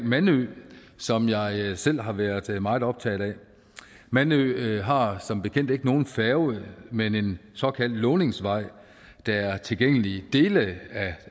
mandø som jeg selv har været meget optaget af mandø har som bekendt ikke nogen færge men en såkaldt låningsvej der er tilgængelig dele